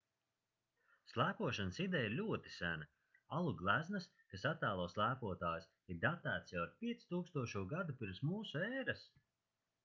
slēpošanas ideja ir ļoti sena alu gleznas kas attēlo slēpotājus ir datētas jau ar 5000. gadu pirms mūsu ēras